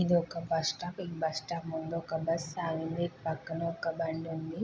ఇదొక bus stop ఆ bus stop ముందు ఒక బస్సు ఆగింది.